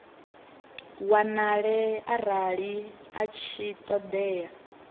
wanale arali a tshi ṱoḓea